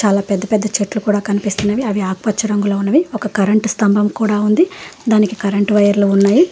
చాలా పెద్ద పెద్ద చెట్లు కూడా కనిపిస్తున్నవి అవి ఆకుపచ్చ రంగులో ఉన్నవి ఒక కరెంటు స్తంభం కూడా ఉంది దానికి కరెంటు వైర్లు ఉన్నాయి.